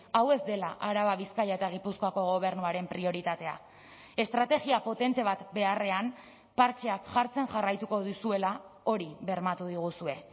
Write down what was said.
hau ez dela araba bizkaia eta gipuzkoako gobernuaren prioritatea estrategia potente bat beharrean partxeak jartzen jarraituko duzuela hori bermatu diguzue